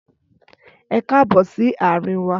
Ẹkáàbọ̀ si àrin wa